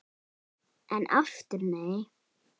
En aftur nei!